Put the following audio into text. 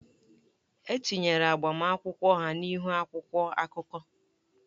E tinyere agbamakwụkwọ ha n'ihu akwụkwọ akụkọ.